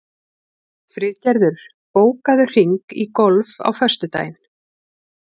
Friðgerður, bókaðu hring í golf á föstudaginn.